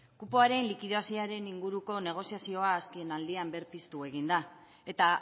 kupoaren likidazioaren inguruko negoziazioa azkenaldian berpiztu egin da eta